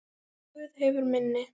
Guð hefur minni.